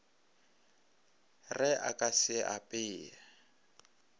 re a ka se apee